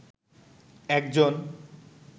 একজন